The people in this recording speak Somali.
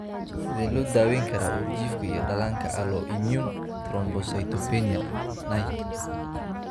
Sidee loo daweyn karaa uurjiifka iyo dhallaanka alloimmune thrombocytopenia (NAIT)?